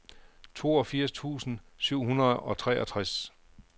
toogfirs tusind syv hundrede og treogtres